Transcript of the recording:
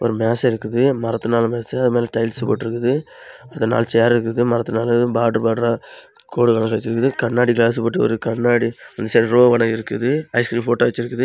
ஒரு மேசை இருக்குது மரத்தினால் மேசை அது மேல டைல்ஸ் போட்ருக்குது அந்த நாளு சேர் இருக்குது மரத்தினால் பார்டர் பார்டரா கோடுகள் வெச்சிருக்குது கண்ணாடி கிளாஸ் போட்டு கண்ணாடி சென்ரோவல இருக்குது ஐஸ்கிரீம் போட்டோ வெச்சிருக்குது.